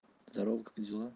здорова как дела